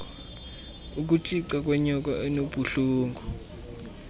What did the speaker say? ukutshica kwenyoka enobuhlungu